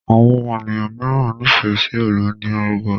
Àwọn ènìyàn míràn n'ifẹ sí Hollandia yoghurt.